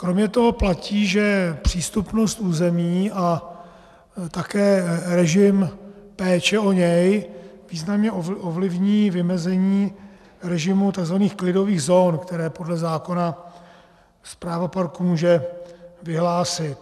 Kromě toho platí, že přístupnost území a také režim péče o něj významně ovlivní vymezení režimu tzv. klidových zón, které podle zákona správa parku může vyhlásit.